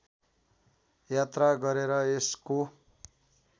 यात्रा गरेर यसको